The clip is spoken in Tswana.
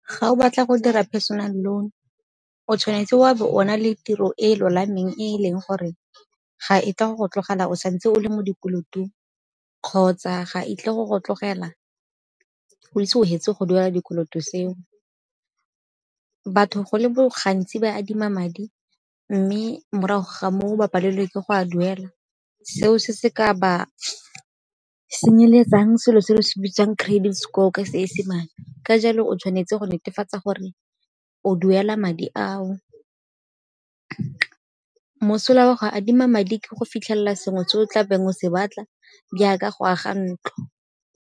Ga o batla go dira personal loan o tshwanetse wa be o na le tiro e e lolameng e e leng gore ga e tla go go tlogela o sa ntse o le mo dikolotong, kgotsa ga a tlo go go tlogela o ise o hetse go duela dikoloto seo. Batho go le gantsi ba adima madi mme morago ga moo ba palelwe ke go a duela, seo se se ka ba senyeletsang selo se re se bitsang credit score ka Seesemane ka jalo o tshwanetse go netefatsa gore o duela madi ao. Mosola wa go adima madi ke go fitlhelela sengwe se o tlabeng o se batla jaaka go aga ntlo.